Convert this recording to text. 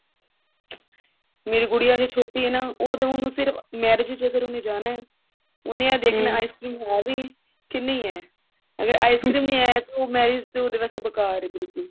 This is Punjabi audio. ਮੇਰੀ ਗੁਡੀਆ ਹਜੇ ਛੋਟੀ ਹੈ ਨਾ ਉਹਦਾ ਉਹਨੂੰ ਸਿਰਫ marriage ਚ ਅਗਰ ਉਹਨੇ ਜਾਣਾ ਉਹਨੇ ice cream ਹੈ ਵ ਕਿੰਨੀ ਹੈ ਅਗਰ ice cream ਨਹੀਂ ਹੈ ਉਹ marriage ਤਾਂ ਬੇਕਾਰ ਹੈ ਉਸਦੇ ਵਾਸਤੇ ਬਿਕੁਲ